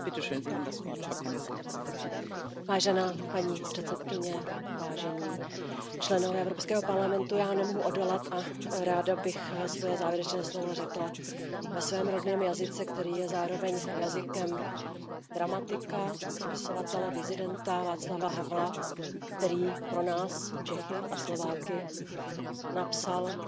Vážená paní předsedající, vážení poslanci Evropského parlamentu, já nemohu odolat a ráda bych svoje závěrečné slovo řekla ve svém rodném jazyce, který je zároveň jazykem dramatika, spisovatele, disidenta Václava Havla, který pro nás, Čechy a Slováky, napsal scénář pro svobodnou zem.